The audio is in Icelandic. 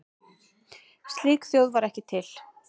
Slík þjóð var ekki til.